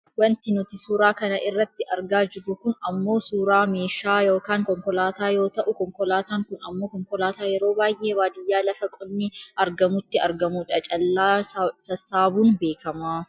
Wanti nuti suuraa kana irratti argaa jirru kun ammoo suuraa meeshaa yookaan konkolaataa yoo ta'u , konkolaataan kun ammoo konkolaataa yeroo baayyee baadiyyaa lafa qonni argamutti argamudha. Callaa sassaabuun beekkama.